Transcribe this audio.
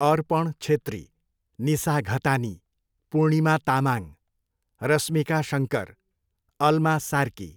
Arpan Chhetri, Nisa Ghatani, Purnima Tamang, Rashmika Shankar, Alma Sarki.